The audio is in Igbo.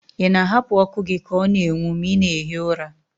Ị na-ahapụ ọkụ gị ka ọ na-enwu ma ị na-ehi ụra?